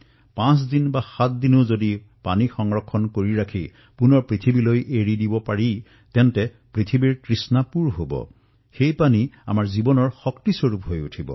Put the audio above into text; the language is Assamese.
পাঁচ দিনসাত দিনো যদি আমি পানী ধৰি ৰাখিব পাৰো তেতিয়াও মা ধৰিত্ৰী পানীৰে পৰিপূৰ্ণ হৈ পৰিব